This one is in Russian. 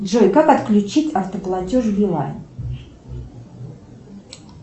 джой как отключить автоплатеж билайн